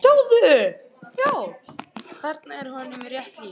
Þarna er honum rétt lýst.